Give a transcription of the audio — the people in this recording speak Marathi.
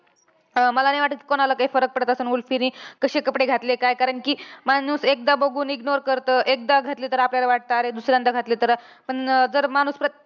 अं मला नाही वाटतं कि कोणाला काही फरक पडत असल. कि उर्फीनि कशे कपडे घातले काय. कारण कि माणूस एकदा बघून ignore करतं. एकदा घातले तर आपल्याला वाटतं अरे दुसऱ्यांदा घातले तर. पण जर माणूस परत परत